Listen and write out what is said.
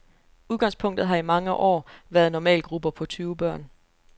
Udgangspunktet har i mange år været normalgrupper på tyve børn.